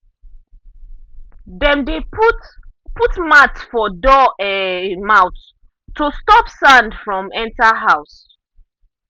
dem dey put put mat for door um mouth to stop sand from enter house.